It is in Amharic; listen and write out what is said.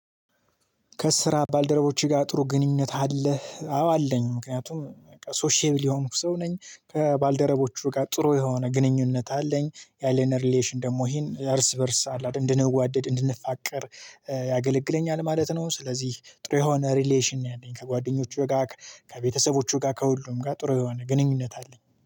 ከስራ ባልደረቦቼ ጋር ጥሩ ግንኙነት አለህ? አዎ አለኝ ምክንያቱም ሶሼብል የሆንኩ ሰው ነኝ። ከባልደረቦቹ ጥሩ የሆነ ግንኙነት አለኝ ያሌነ ሪሌሽን ደግሞ ይሄን እርስ በእርስ አለ እንድንዋደድ እንድንፋቀር ያገለግለኛል ማለት ነው። ስለዚህ ጥሩ የሆነ ሪሌሽን ነው። ያኔን ከጓደኞቹ ጋር ከቤተሰቦቹ ጋር ከሁሉም ጋር ጥሩ የሆነ ግንኙነት አለኝ